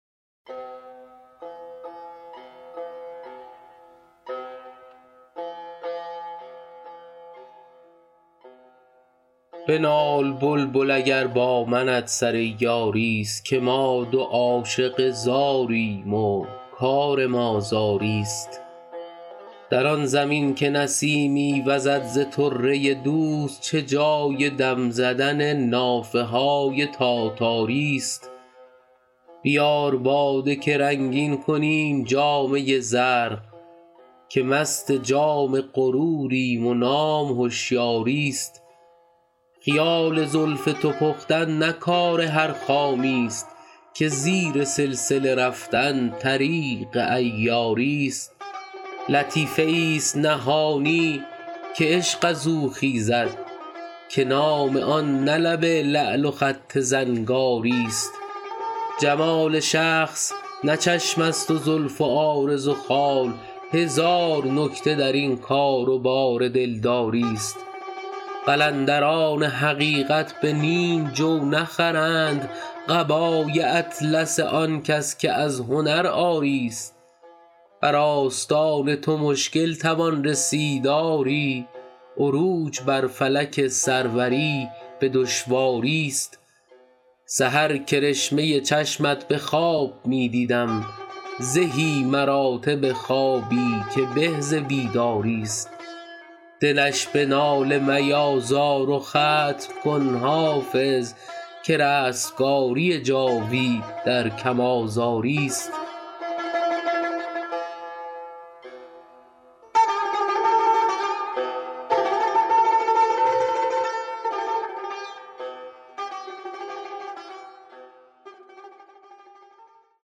بنال بلبل اگر با منت سر یاری ست که ما دو عاشق زاریم و کار ما زاری ست در آن زمین که نسیمی وزد ز طره دوست چه جای دم زدن نافه های تاتاری ست بیار باده که رنگین کنیم جامه زرق که مست جام غروریم و نام هشیاری ست خیال زلف تو پختن نه کار هر خامی ست که زیر سلسله رفتن طریق عیاری ست لطیفه ای ست نهانی که عشق از او خیزد که نام آن نه لب لعل و خط زنگاری ست جمال شخص نه چشم است و زلف و عارض و خال هزار نکته در این کار و بار دلداری ست قلندران حقیقت به نیم جو نخرند قبای اطلس آن کس که از هنر عاری ست بر آستان تو مشکل توان رسید آری عروج بر فلک سروری به دشواری ست سحر کرشمه چشمت به خواب می دیدم زهی مراتب خوابی که به ز بیداری ست دلش به ناله میازار و ختم کن حافظ که رستگاری جاوید در کم آزاری ست